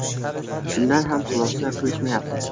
Shundan ham xulosa qilishmayapti.